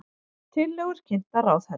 Tillögur kynntar ráðherra